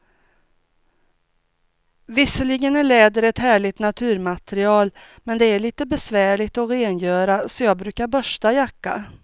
Visserligen är läder ett härligt naturmaterial, men det är lite besvärligt att rengöra, så jag brukar borsta jackan.